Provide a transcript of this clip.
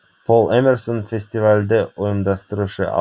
пол эмерсон фестивальді ұйымдастырушы